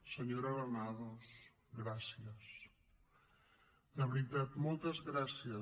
senyora granados gràcies de veritat moltes gràcies